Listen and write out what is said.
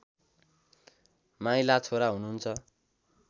माइला छोरा हुनुहुन्छ